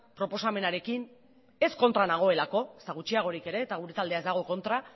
proposamenarekin ez kontra nagoelako ezta gutxiagorik ere eta gure taldea ez dago kontra